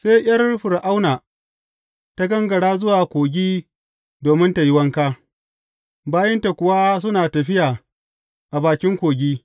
Sai ’yar Fir’auna ta gangara zuwa kogi domin tă yi wanka, bayinta kuwa suna tafiya a bakin kogi.